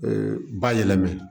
Ee ba yɛlɛmana